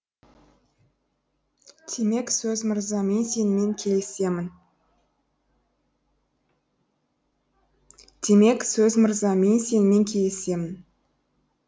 демек сөз мырза мен сенімен келісемін